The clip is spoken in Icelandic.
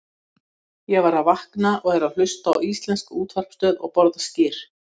Ég var að vakna og er að hlusta á íslenska útvarpsstöð og borða skyr.